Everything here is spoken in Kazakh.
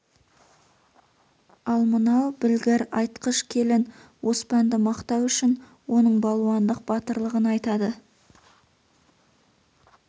ал мынау білгір айтқыш келін оспанды мақтау үшін оның балуандық батырлығын айтады